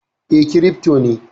E, kirifto ne